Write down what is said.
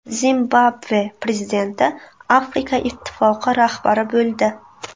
Zimbabve prezidenti Afrika ittifoqi rahbari bo‘ldi.